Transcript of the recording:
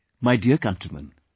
My dear countrymen,